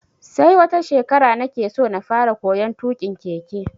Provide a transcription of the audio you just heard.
Sai wata shekara nake so na fara koyon tuƙin keke.